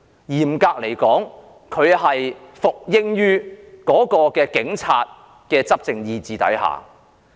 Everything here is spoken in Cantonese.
嚴格來說，她是服膺於警察的執政意志下。